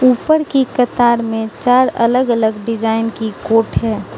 ऊपर की कतार में चार अलग अलग डिजाइन की कोट है।